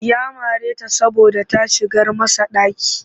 Ya mare ta saboda ta shigar masa ɗaki